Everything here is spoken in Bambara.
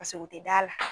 Paseke u tɛ da la